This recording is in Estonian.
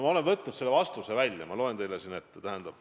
Ma olen võtnud selle vastuse välja ja loen selle teile ette.